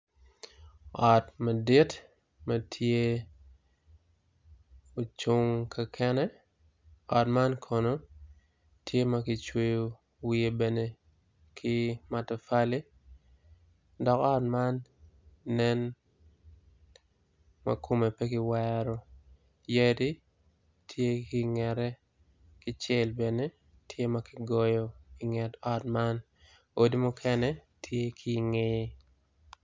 Ot madit ma tye ocung kakene ot man kono tye ma kicweyo wiye ki matafali dok ot man kome pe kiweoro odi muken tye ki i ngeye